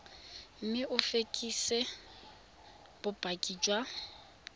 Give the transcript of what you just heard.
mme o fekese bopaki jwa